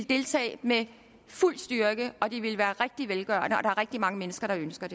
deltage med fuld styrke og det ville være velgørende og er rigtig mange mennesker der ønsker